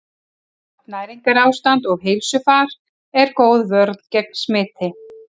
Gott næringarástand og heilsufar er góð vörn gegn smiti.